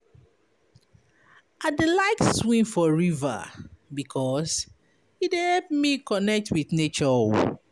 I dey like swim for river because e dey help me connect wit nature.